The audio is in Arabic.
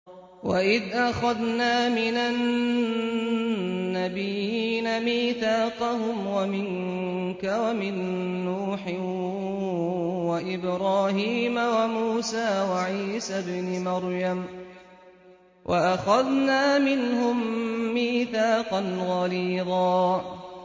وَإِذْ أَخَذْنَا مِنَ النَّبِيِّينَ مِيثَاقَهُمْ وَمِنكَ وَمِن نُّوحٍ وَإِبْرَاهِيمَ وَمُوسَىٰ وَعِيسَى ابْنِ مَرْيَمَ ۖ وَأَخَذْنَا مِنْهُم مِّيثَاقًا غَلِيظًا